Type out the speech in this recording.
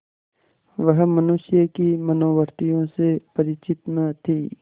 वह मनुष्य की मनोवृत्तियों से परिचित न थी